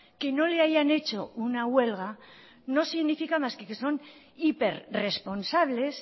que no le hayan hecho una huelga no significa más que que son hiper responsables